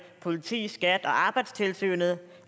politi skat og arbejdstilsynet